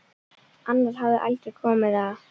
Annar hafði aldrei komið á